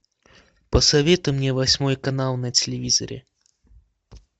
посоветуй мне восьмой канал на телевизоре